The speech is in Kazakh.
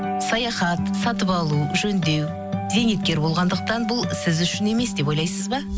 саяхат сатып алу жөндеу зейнеткер болғандықтан бұл сіз үшін емес деп ойлайсыз ба